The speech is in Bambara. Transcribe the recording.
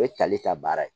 O ye tali ka baara ye